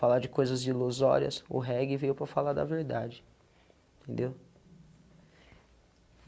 Falar de coisas ilusórias, o reggae veio para falar da verdade, entendeu?